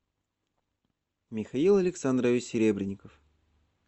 михаил александрович серебренников